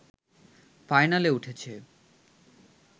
ফাইনালে উঠেছে